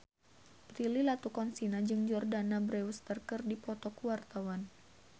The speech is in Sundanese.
Prilly Latuconsina jeung Jordana Brewster keur dipoto ku wartawan